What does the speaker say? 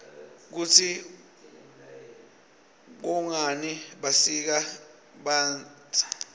kutsi kwngani basika banbza